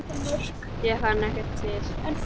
Ég fann ekkert til.